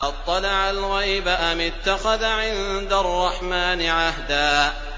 أَطَّلَعَ الْغَيْبَ أَمِ اتَّخَذَ عِندَ الرَّحْمَٰنِ عَهْدًا